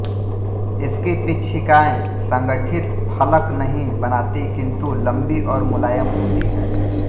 इसकी पिच्छिकाएँ संगठित फलक नहीं बनातीं किंतु लंबी और मुलायम होती हैं